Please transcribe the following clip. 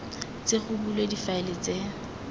tle go bulwe difaele tse